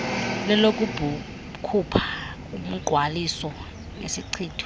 lelokukhupha umngqwaliso nesichitho